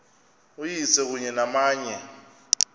uyise kunye namanye